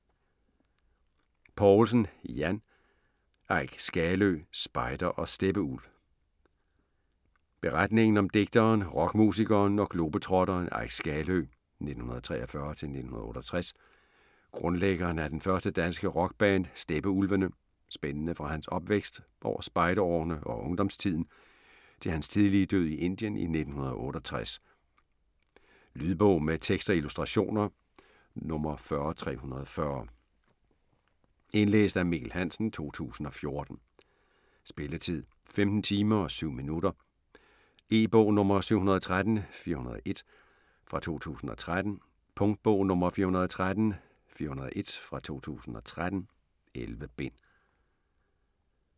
Poulsen, Jan: Eik Skaløe: spejder og steppeulv Beretningen om digteren, rockmusikeren og globetrotteren Eik Skaløe (1943-1968), grundlæggeren af det første danske rockband Steppeulvene, spændende fra hans opvækst, over spejderårene og ungdomstiden til hans tidlige død i Indien i 1968. Lydbog med tekst og illustrationer 40340 Indlæst af Mikkel Hansen, 2014. Spilletid: 15 timer, 7 minutter. E-bog 713401 2013. Punktbog 413401 2013. 11 bind.